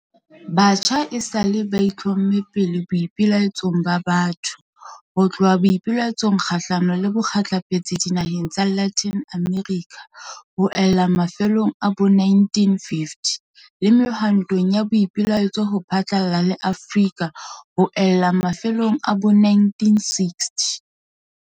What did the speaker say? Batjha esale ba itlhomme pele boipelaetsong ba batho, ho tloha boipelaetsong kgahlano le bokgehlepetsi dinaheng tsa Latin America ho ella mafelong a bo 1950, le mehwantong ya boipelaetso ho phatlalla le Afrika ho ella mafelong a bo 1960.